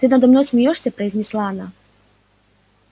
ты надо мной смеёшься произнесла она